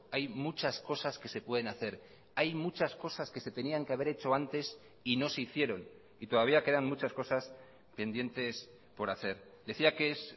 hay muchas cosas que se pueden hacer hay muchas cosas que se tenían que haber hecho antes y no se hicieron y todavía quedan muchas cosas pendientes por hacer decía qué es